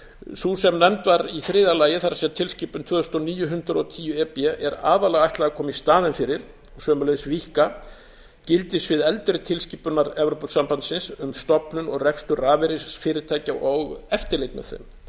sú sem nefnd var í þriðja lagi það er tilskipun tvö þúsund og níu hundrað og tíu e b er aðallega ætlað að koma í staðinn fyrir og sömuleiðis víkka gildissvið eldri tilskipunar evrópusambandsins um stofnun og rekstur rafeyrisfyrirtækja og eftirlit með þeim